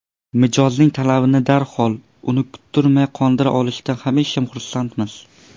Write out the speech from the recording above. Mijozning talabini darhol, uni kuttirmay qondira olishdan hamisha xursandmiz.